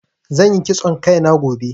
Zan yi kitson Kai na gobe.